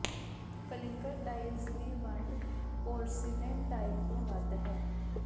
clinker tiles ਦੀ ਵੰਡ porcelain tile ਤੋਂ ਵੱਧ ਹੈ